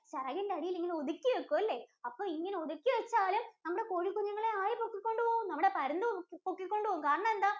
ചെറകിന്‍റടിയിലിങ്ങനെ ഒതുക്കി വയ്ക്കും അല്ലേ? അപ്പോ ഇങ്ങനെ ഒതുക്കി വച്ചാലും നമ്മുടെ കോഴികുഞ്ഞുങ്ങളെ ആര് പൊക്കികൊണ്ട് പോകും? നമ്മുടെ പരുന്ത് പൊക്കിക്കൊണ്ട് പോകും. കാരണം എന്താ?